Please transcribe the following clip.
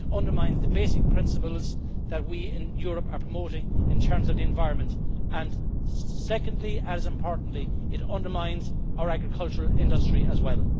It undermines the basic principles that we in Europe are promoting in terms of the environment, and secondly and as importantly, it undermines our agricultural industry as well.